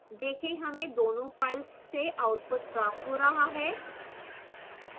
देखें हमें दोनों files से output प्राप्त हो रहा है